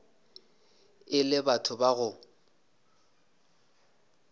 e le batho ba go